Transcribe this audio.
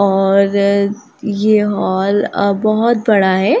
और ये हॉल आ बहुत बड़ा है।